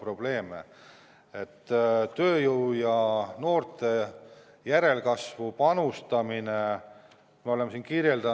Aga tööjõu ja noorte järelkasvu panustamine on siin kirjas.